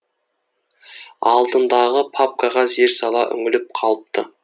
алдындағы папкаға зер сала үңіліп қалыпты